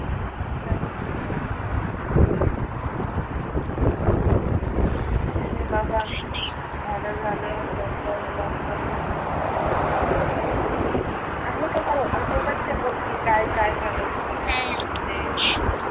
काही नाही बाबा बरं झालं लोकडाऊन लोकडाऊन आणि आहे अर्थात. या गोष्टी काय काय झालं होत त्या लोकडाऊन मध्ये